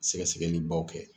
Sɛgɛ sɛgɛli baw kɛ.